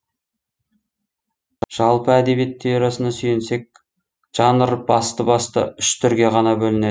жалпы әдебиет теориясына сүйенсек жанр басты басты үш түрге ғана бөлінеді